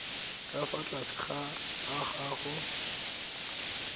ka fa tlase ga agoa